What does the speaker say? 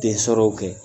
Den sɔrɔw kɛ